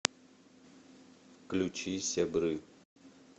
включи сябры